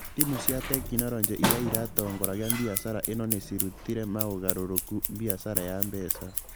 Timu cia tekinoronjĩ iria iratongoria biacara ĩno nĩ cirutire maũgarũrũku biacara ya mbeca